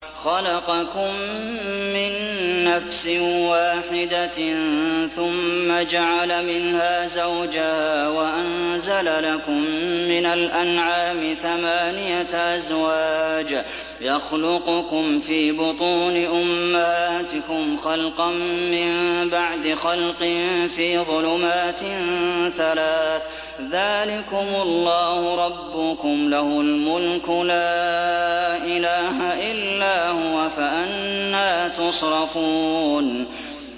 خَلَقَكُم مِّن نَّفْسٍ وَاحِدَةٍ ثُمَّ جَعَلَ مِنْهَا زَوْجَهَا وَأَنزَلَ لَكُم مِّنَ الْأَنْعَامِ ثَمَانِيَةَ أَزْوَاجٍ ۚ يَخْلُقُكُمْ فِي بُطُونِ أُمَّهَاتِكُمْ خَلْقًا مِّن بَعْدِ خَلْقٍ فِي ظُلُمَاتٍ ثَلَاثٍ ۚ ذَٰلِكُمُ اللَّهُ رَبُّكُمْ لَهُ الْمُلْكُ ۖ لَا إِلَٰهَ إِلَّا هُوَ ۖ فَأَنَّىٰ تُصْرَفُونَ